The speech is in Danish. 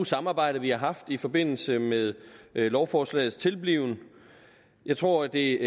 samarbejde vi har haft i forbindelse med lovforslagets tilblivelse jeg tror det